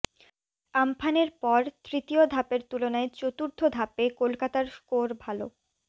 আমফানের পর তৃতীয় ধাপের তুলনায় চতুর্থ ধাপে কলকাতার স্কোর ভাল